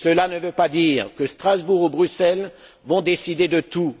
Cela ne veut pas dire que Strasbourg ou Bruxelles vont décider de tout.